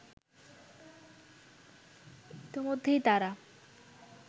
ইতিমধ্যেই তারা